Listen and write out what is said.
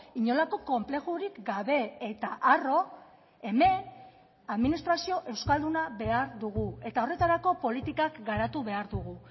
inolako konplexurik gabe eta arro hemen administrazio euskalduna behar dugu eta horretarako politikak garatu behar dugu